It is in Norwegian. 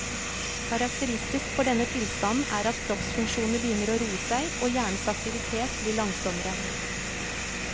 Karakteristisk for denne tilstanden er at kroppsfunksjonene begynner å roe seg, og hjernens aktivitet blir langsommere.